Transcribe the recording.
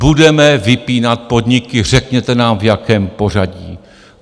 Budeme vypínat podniky, řekněte nám, v jakém pořadí.